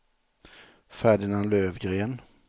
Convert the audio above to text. Ferdinand Lövgren